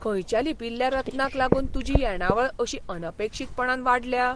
खंयच्या लिपील्ल्या रत्नांक लागून तुजी येणावळ अशी अनपेक्षीतपणान वाडल्या?